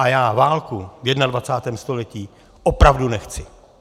A já válku v 21. století opravdu nechci!